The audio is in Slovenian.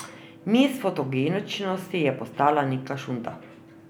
Miss fotogeničnosti je postala Nika Šunta.